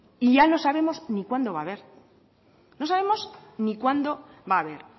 y ya no sabemos ni cuándo va haber